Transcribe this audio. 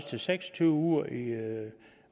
til seks og tyve uger i